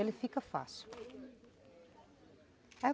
Ele fica fácil.